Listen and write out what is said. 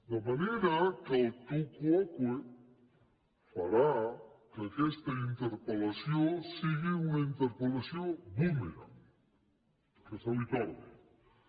de manera que el tu quoque farà que aquesta interpel·lació sigui una interpel·lació bumerang que se li torni